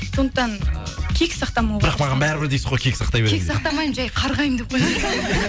сондықтан кек сақтамауға бірақ маған бәрібір дейсіз ғой кек сақтай беремін кек сақтамаймын жай қарғаймын деп